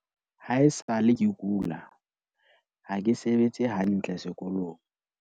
"Haesale ke kula, ha ke sebetse hantle sekolong."